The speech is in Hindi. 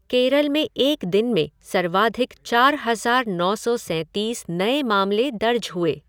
केरल में एक दिन में सर्वाधिक चार हज़ार नौ सौ सैंतीस नए मामले दर्ज हुए।